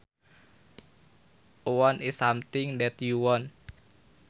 A want is something that you want